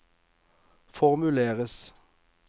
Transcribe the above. formuleres